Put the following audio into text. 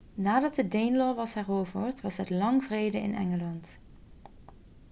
nadat de danelaw was heroverd was het lang vrede in engeland